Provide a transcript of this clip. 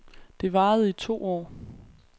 Det varede i to år.